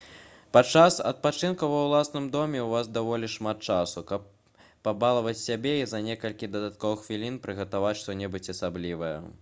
падчас адпачынку ва ўласным доме ў вас даволі шмат часу каб пабалаваць сябе і за некалькі дадатковых хвілін прыгатаваць што-небудзь асаблівае